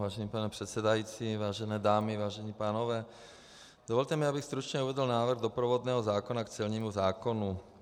Vážený pane předsedající, vážené dámy, vážení pánové, dovolte mi, abych stručně uvedl návrh doprovodného zákona k celnímu zákonu.